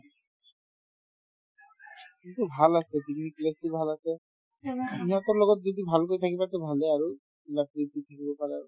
কিন্তু ভাল আছে picnic place তো ভাল আছে ইহঁতৰ লগত যদি ভালকৈ থাকিবা to ভালে আৰু থাকিব পাৰা